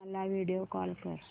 वीणा ला video call कर